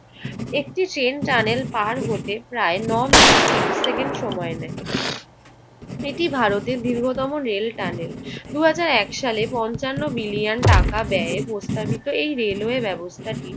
একটি same tanel পাড় হতে প্রায় ন মিনিট ত্রিশ সেকেন্ড সময় নেয়। এটি ভারতের দীর্ঘতম রেল টানেল। দুই হাজার এক সালে পঞ্চান্ন বিলিয়ন টাকা ব্যয়ে প্রস্তাবিত এই রেলওয়ে ব্যবস্থাটি